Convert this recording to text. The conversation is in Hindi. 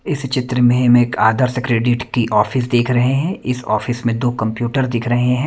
इस चित्र में हम एक आदर्श क्रेडिट की ऑफिस देख रहे हैं इस ऑफिस में दो कंप्यूटर दिख रहे हैं।